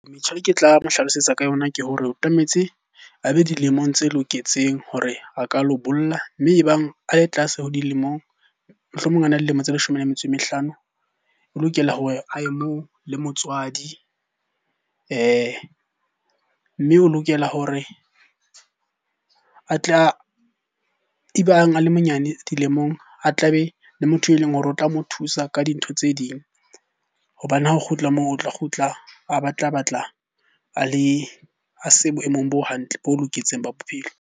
Metjha e ke tla mo hlalosetsa ka yona ke hore o tlametse a be dilemong tse loketseng hore a ka lo bolla. Mme ebang a le tlase ho dilemong, mohlomong a na le dilemo tse leshome le metso e mehlano. O lokela hore a ye moo le motswadi. Mme o lokela hore a tle, ebang a le monyane dilemong a tla be le motho e leng hore o tla mo thusa ka dintho tse ding hobane ha o kgutla moo. O tla kgutla a batla a le, a se boemong bo hantle bo loketseng ba bophelo.